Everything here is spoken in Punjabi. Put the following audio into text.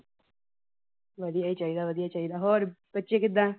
ਵਧੀਆ ਹੀ ਚਾਹੀਦਾ, ਵਧੀਆ ਚਾਹੀਦਾਂ, ਹੋਰ ਬੱਚੇ ਕਿੱਦਾ?